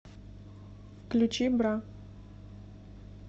включи бра